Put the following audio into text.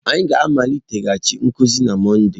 Anyị ga-amaliteghachi nkuzi na Mọnde..